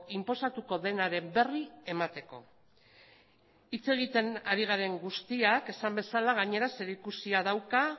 inposatuko denaren berri emateko hitz egiten ari garen guztiak esan bezala gainera zerikusia dauka